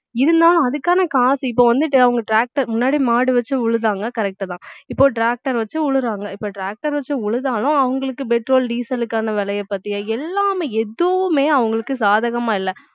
இருந்தாலும் அதுக்கான காசு இப்ப வந்துட்டு அவங்க tractor முன்னாடி மாடு வச்சு உழுதாங்க correct தான் இப்போ tractor வச்சு உழுறாங்க இப்போ tractor வச்சு உழுதாலும் அவங்களுக்கு petrol, diesel க்கான விலையை பத்திய எல்லாமே எதுவுமே அவங்களுக்கு சாதகமா இல்லை